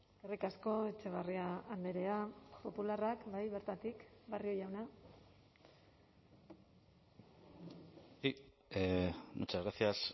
eskerrik asko etxebarria andrea popularrak bai bertatik barrio jauna muchas gracias